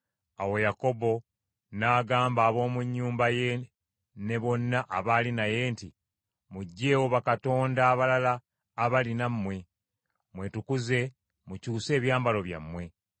Awo Yakobo n’agamba ab’omu nnyumba ye ne bonna abaali naye nti, “Muggyeewo bakatonda abalala abali nammwe, mwetukuze mukyuse ebyambalo byammwe,